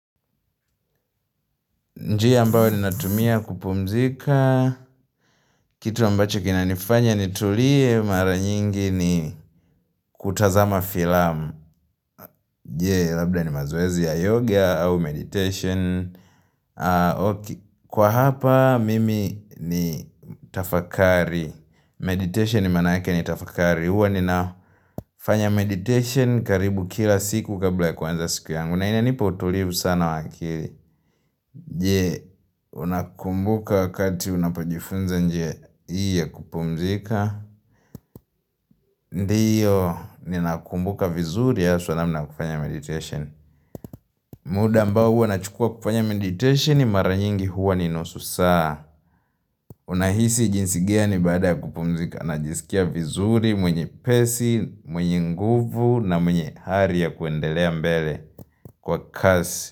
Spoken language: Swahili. Njia ambayo ninatumia kupumzika. Kitu ambacho kinanifanya nitulie mara nyingi ni kutazama filamu. Jee, labda ni mazoezi ya yoga au meditation. Kwa hapa, mimi ni tafakari. Meditation ni manaake ni tafakari. Huwa ninafanya meditation karibu kila siku kabla ya kuanza siku yangu na inanipa utulivu sana wa akili Je, unakumbuka wakati unapojifunza njie hii ya kupumzika Ndiyo, ninakumbuka vizuri haswa namna ya kufanya meditation muda ambao huwa nachukua kufanya meditation mara nyingi huwa ni nusu saa Unahisi jinsi gani baada ya kupumzika najisikia vizuri mwenye pesi, mwenye nguvu na mwenye hari ya kuendelea mbele kwa kasi.